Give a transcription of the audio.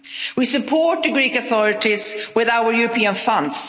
We support the Greek authorities with our European funds.